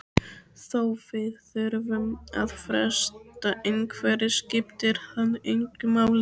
Þó við þurfum að fresta einhverju skiptir það engu máli.